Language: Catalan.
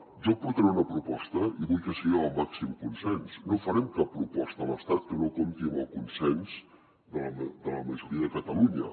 jo portaré una proposta i vull que sigui amb el màxim consens no farem cap proposta a l’estat que no compti amb el consens de la majoria de catalunya